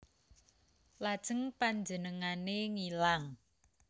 Lajeng panjenengané ngilang